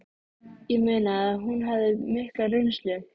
Ég meina að hún hafði mikla reynslu